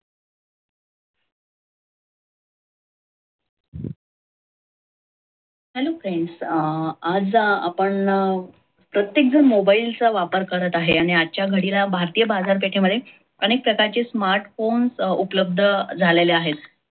hello friends अं आज आपण प्रयत्तेकजन mobile चा वापर करत आहे. आजच्या घालील भारतीय बाजारपेठेमद्धे अनेक प्रकरचे smartphone उपलब्ध झालेले आहे.